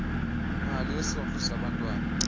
mali yesondlo sabantwana